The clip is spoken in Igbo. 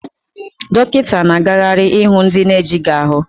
Dọkịta na-agagharị ịhụ ndị na-ejighị ahu